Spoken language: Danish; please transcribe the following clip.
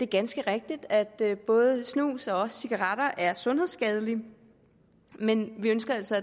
ganske rigtigt at både snus og cigaretter er sundhedsskadelige men vi ønsker altså